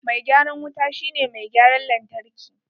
Mai gyaran wuta shi ne mai gyaran lantarki.